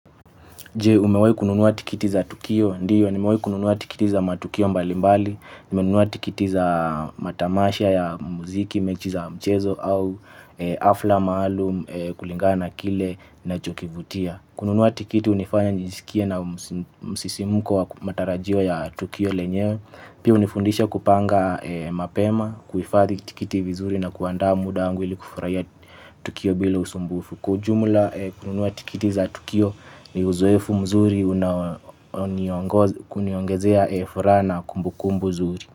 Je, umewahi kununua tikiti za tukio? Ndio. Nimewahi kununua tikiti za matukio mbalimbali. Nimenunua tikiti za matamasha ya muziki, mechi za mchezo au hafla maalum kulingana na kile nachokivutia. Kununua tikiti hunifanya nijisikie na msisimuko wa matarajio ya tukio lenyewe. Pia hunifundisha kupanga mapema, kuhifadhi tikiti vizuri na kuandaa muda wangu ili kufurahia tukio bila usumbufu. Kwa ujumula kununua tikiti za tukio ni uzoefu mzuri kuniongezea furaha na kumbukumbu nzuri.